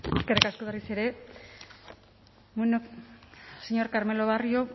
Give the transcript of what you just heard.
eskerrik asko berriz ere señor carmelo barrio